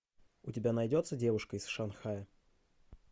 у тебя найдется девушка из шанхая